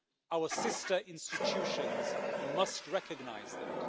Our sister institutions must recognise that.